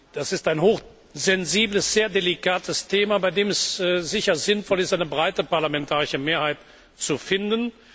Das ist ein hochsensibles, sehr delikates Thema, bei dem es sicher sinnvoll ist, eine breite parlamentarische Mehrheit zu finden.